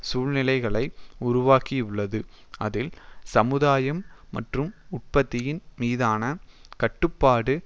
சூழ்நிலைகளை உருவாக்கியுள்ளது அதில் சமுதாயம் மற்றும் உற்பத்தியின் மீதான கட்டுப்பாடு